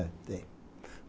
É, tem.